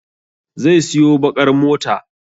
Zai siyo baƙar mota.